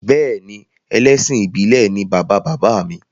Bẹ́ẹ̀ni ẹlẹ́sìn ìbílè ni bàba bàbá mi